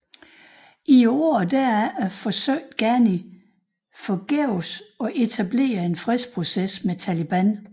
I årene derefter forsøgte Ghani forgæves at etablere en fredsproces med Taliban